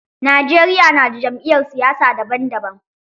Najeriya na da jam'iyyar siyasa daban daban.